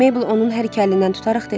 Mabel onun hər iki əlindən tutaraq dedi.